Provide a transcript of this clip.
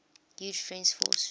huge french force